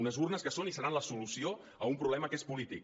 unes urnes que són i seran la solució d’un problema que és polític